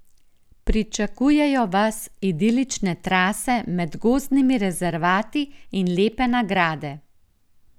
Pričakujejo vas idilične trase med gozdnimi rezervati in lepe nagrade.